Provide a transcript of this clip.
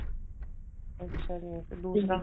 ਅੱਛਾ ਜੀ ਤੇ ਦੂਸਰਾ